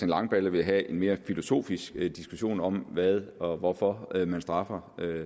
langballe vil have en mere filosofisk diskussion om hvad og hvorfor man straffer